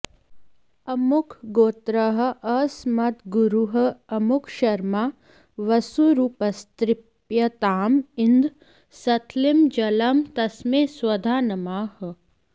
अमुकगोत्रः अस्मद्गुरुः अमुकशर्मा वसुरूपस्तृप्यताम् इदं सतिलं जलं तस्मै स्वधा नमः